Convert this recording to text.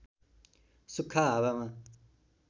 सुख्खा हावामा